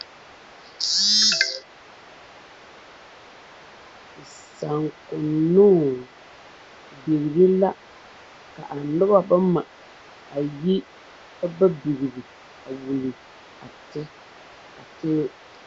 Saakoŋnoŋ bigre la kaa nobɔ bama a yi ka ba bigri ti ti.